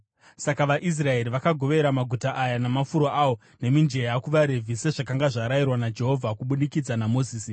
Saka vaIsraeri vakagovera maguta aya namafuro awo, nemijenya kuvaRevhi sezvakanga zvarayirwa naJehovha kubudikidza naMozisi.